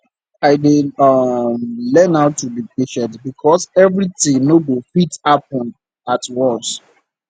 i dey um learn to be patient because everything no go fit happen at once